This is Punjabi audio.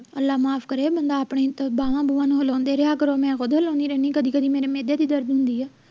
ਮਹਿੰਦੀ ਕੀਤੀ ਤੇ ਸੁਬਹ ਬਰਾਤ ਆ ਤੇ ਸਾਰੇ ਗੱਡੀਆਂ ਤੇ ਚੜ ਤੇ ਆਪਣਾਂ ਚੱਲ ਜਾਂਦੇ ਆ